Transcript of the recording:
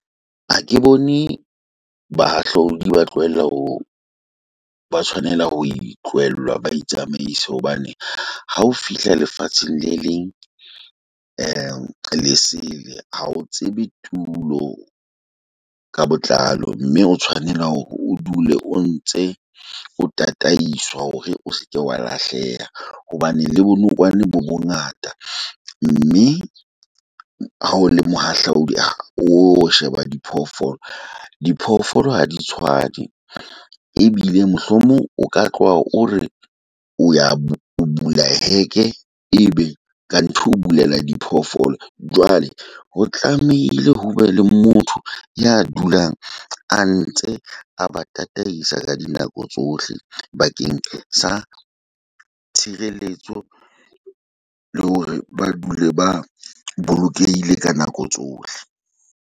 Ha ke bone bahahlaodi ba tlohelle ho ba tshwanela ho itlowellwa, ba itsamaise hobane. Ha o fihla lefatsheng le leng lesele, ha o tsebe tulo ka botlalo, mme o tshwanela hore o dule o ntse o tataisa hore o seke wa lahleha. Hobane le bonokwane bo bongata mme ha o le mohahlaudi. Ha o sheba diphoofolo, diphoofolo Ha di tshwane, ebile mohlomong o ka tloha o re o ya o bula heke ebe ka ntho o bulela diphoofolo. Jwale ho tlamehile ho be le motho ya a ntse a ba tataisa ka dinako tsohle bakeng sa tshireletso le hore ba dule ba bolokehile ka nako tsohle.